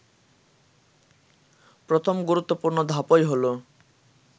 প্রথম গুরুত্বপূর্ণ ধাপই হলো